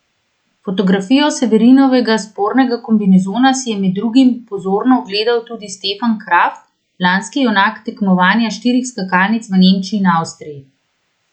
Fotografijo Severinovega spornega kombinezona si je med drugimi pozorno ogledal tudi Stefan Kraft, lanski junak tekmovanja štirih skakalnic v Nemčiji in Avstriji.